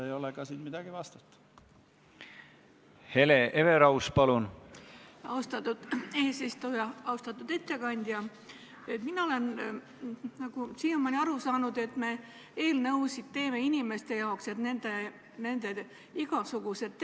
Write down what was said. Sellel konfliktil on oma etniline mõõde ja kahjuks on sellel konfliktil ka oma rassiline mõõde, sest lõunapoolsed hõimud on mustanahalised ja tuareegid teatud kontekstis on valgenahalised.